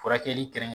Furakɛli kɛrɛnkɛrɛn